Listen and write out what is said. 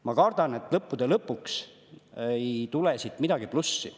Ma kardan, et lõppude lõpuks ei tule siit midagi plussi.